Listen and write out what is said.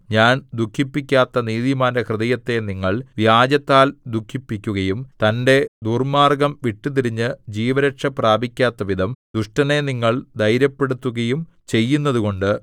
ഞാൻ ദുഃഖിപ്പിക്കാത്ത നീതിമാന്റെ ഹൃദയത്തെ നിങ്ങൾ വ്യാജത്താൽ ദുഃഖിപ്പിക്കുകയും തന്റെ ദുർമ്മാർഗ്ഗം വിട്ടുതിരിഞ്ഞു ജീവരക്ഷ പ്രാപിക്കാത്തവിധം ദുഷ്ടനെ നിങ്ങൾ ധൈര്യപ്പെടുത്തുകയും ചെയ്യുന്നതുകൊണ്ട്